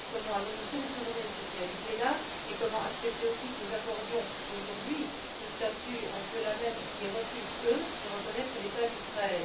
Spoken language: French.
comment allons nous contourner cette réalité là et comment accepter aussi que nous accordions, aujourd'hui, ce statut à ceux là mêmes qui refusent de reconnaître l'État d'Israël?